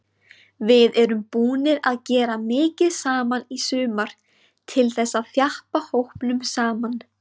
Við erum búnir að gera mikið saman í sumar til þess að þjappa hópnum saman.